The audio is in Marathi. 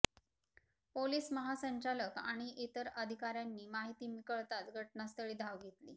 पोलीस महासंचालक आणि इतर अधिकाऱयांनी माहिती कळताच घटनास्थळी धाव घेतली